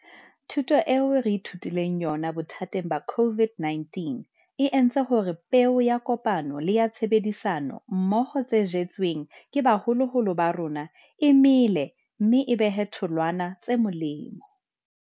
Thuto eo re ithutileng yona bothateng ba COVID-19 e entse hore peo ya kopano le ya tshebedisano mmoho tse jetsweng ke baholoholo ba rona e mele mme e behe tholwana tse molemo.